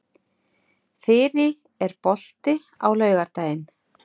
Þyrí, er bolti á laugardaginn?